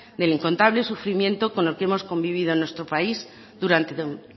del incontables sufrimiento con el que hemos convivido en nuestro país durante